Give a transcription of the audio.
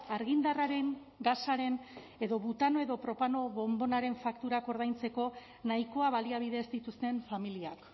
argindarraren gasaren edo butano edo propano bonbonen fakturak ordaintzeko nahikoa baliabide ez dituzten familiak